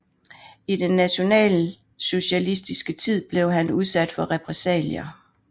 I den nationalsocialistiske tid blev han udsat for repressalier